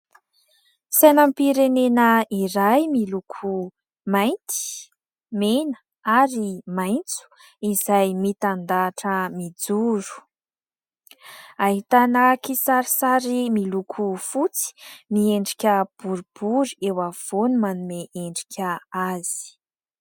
Sainam-pirenena iray miloko mainty, mena ary maitso izay mitandahatra mijoro. Ahitana kisarisary miloko fotsy miendrika boribory eo afovoany manome endrika azy.